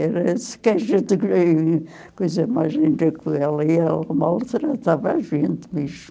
Era assim que a gente... Coisa mais linda que ela, e ela maltratava a gente mesmo.